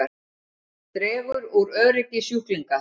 Dregur úr öryggi sjúklinga